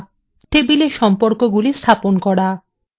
6 table সম্পর্কগুলি স্থাপন করা